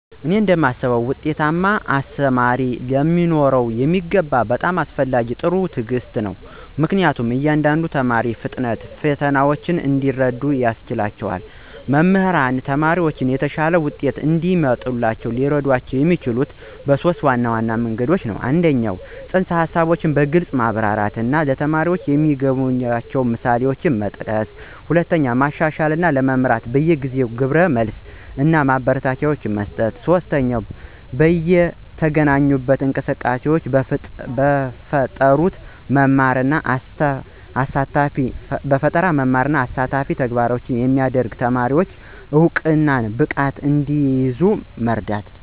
እኔ እንደማስበው ውጤታማ አስተማሪ ሊኖረው የሚገባው በጣም አስፈላጊው ጥራት ትዕግስት ነው, ምክንያቱም የእያንዳንዱን ተማሪ ፍጥነት እና ፈተናዎች እንዲረዱ ያስችላቸዋል. መምህራን ተማሪዎችን የተሻለ ውጤት እንዲያመጡ ሊረዷቸው የሚችሉት - 1) ፅንሰ-ሀሳቦችን በግልፅ በማብራራት እና ተማሪዎች የሚያገናኟቸውን ምሳሌዎችን በመጠቀም፣ 2) መሻሻልን ለመምራት በየጊዜው ግብረ መልስ እና ማበረታቻ በመስጠት፣ እና 3) በይነተገናኝ እንቅስቃሴዎችን በመፍጠር መማርን አሳታፊ እና ተግባራዊ የሚያደርግ፣ ተማሪዎች እውቀትን በብቃት እንዲይዙ በመርዳት።